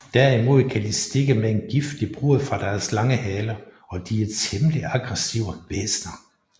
Derimod kan de stikke med en giftig brod fra deres lange hale og de er temmelig aggressive væsner